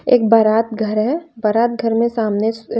एक बारात घर है बारात घर में सामने--